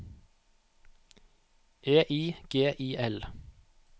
E I G I L